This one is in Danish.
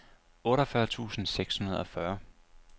otteogfyrre tusind og seksogfyrre